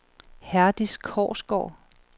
Herdis Korsgaard